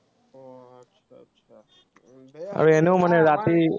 আৰু এনেও মানে ৰাতি